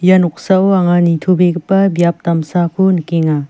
ia noksao anga nitobegipa biap damsako nikenga.